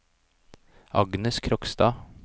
Agnes Krogstad